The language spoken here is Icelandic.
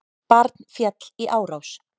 Barn féll í árás